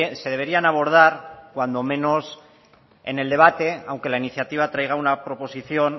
se deberían abordar cuando menos en el debate aunque la iniciativa traiga una proposición